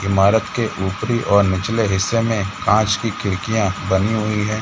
ईमारत के ऊपरी और निचले हिस्से में कॉंच की खिडकियाॅं बनी हुई है।